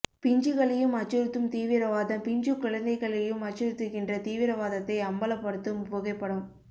பிஞ்சுகளையும் அச்சுறுத்தும் தீவிரவாதம் பிஞ்சு குழந்தைகளையும் அச்சுறுத்துகின்ற தீவிரவாதத்தை அம்பலப்படுத்தும் புகைப்படம்